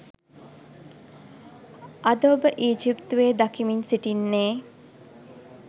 අද ඔබ ඊජිප්තුවේ දකිමින් සිටින්නේ